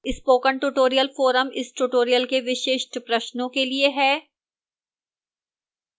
spoken tutorial forum इस tutorial के विशिष्ट प्रश्नों के लिए है